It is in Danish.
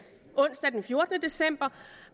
onsdag den fjortende december